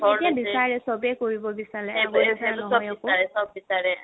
এতিয়া বিচাৰে চ'বে কৰিব বিচাৰে আগৰ নিচিনা নহয় একো